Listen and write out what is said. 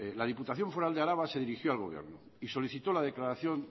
la diputación foral de araba se dirigió al gobierno y solicitó la declaración